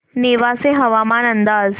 नेवासे हवामान अंदाज